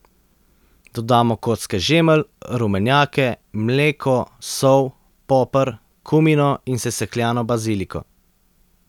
Dodamo kocke žemelj, rumenjake, mleko, sol, poper, kumino in sesekljano baziliko.